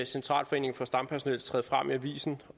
centralforeningen for stampersonel træde frem i avisen